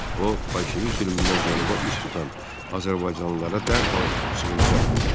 O, bolşevik zülmündən cənuba üst tutan azərbaycanlılara dərhal sığınacaq verdi.